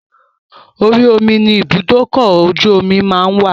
Orí omi ni ibùdókọ̀-ojú-omí máa ń wà